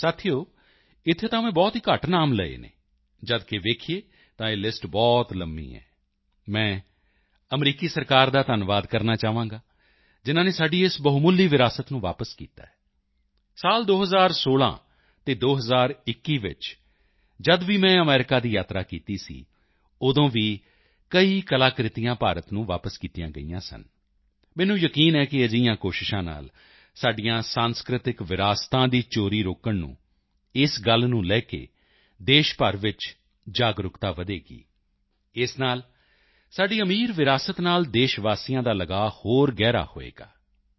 ਸਾਥੀਓ ਇੱਥੇ ਤਾਂ ਮੈਂ ਬਹੁਤ ਹੀ ਘੱਟ ਨਾਮ ਲਏ ਹਨ ਜਦਕਿ ਵੇਖੀਏ ਤਾਂ ਇਹ ਲਿਸਟ ਬਹੁਤ ਲੰਬੀ ਹੈ ਮੈਂ ਅਮਰੀਕੀ ਸਰਕਾਰ ਦਾ ਧੰਨਵਾਦ ਕਰਨਾ ਚਾਹਾਂਗਾ ਜਿਨ੍ਹਾਂ ਨੇ ਸਾਡੀ ਇਸ ਬਹੁਮੁੱਲੀ ਵਿਰਾਸਤ ਨੂੰ ਵਾਪਸ ਕੀਤਾ ਹੈ 2016 ਅਤੇ 2021 ਚ ਵੀ ਜਦ ਮੈਂ ਅਮਰੀਕਾ ਦੀ ਯਾਤਰਾ ਕੀਤੀ ਸੀ ਉਦੋਂ ਵੀ ਕਈ ਕਲਾਕ੍ਰਿਤੀਆਂ ਭਾਰਤ ਨੂੰ ਵਾਪਸ ਕੀਤੀਆਂ ਗਈਆਂ ਸਨ ਮੈਨੂੰ ਯਕੀਨ ਹੈ ਕਿ ਅਜਿਹੀਆਂ ਕੋਸ਼ਿਸ਼ਾਂ ਨਾਲ ਸਾਡੀਆਂ ਸਾਂਸਕ੍ਰਿਤਕ ਵਿਰਾਸਤਾਂ ਦੀ ਚੋਰੀ ਰੋਕਣ ਨੂੰ ਇਸ ਗੱਲ ਨੂੰ ਲੈ ਕੇ ਦੇਸ਼ ਭਰ ਵਿੱਚ ਜਾਗਰੂਕਤਾ ਵਧੇਗੀ ਇਸ ਨਾਲ ਸਾਡੀ ਸਮ੍ਰਿੱਧ ਵਿਰਾਸਤ ਨਾਲ ਦੇਸ਼ਵਾਸੀਆਂ ਦਾ ਲਗਾਓ ਹੋਰ ਵੀ ਗਹਿਰਾ ਹੋਵੇਗਾ